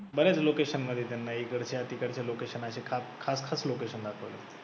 बरं आहे ना location मध्ये त्यांना एक वर्षासाठी करते. locations चे खास खास खास location दाखवते.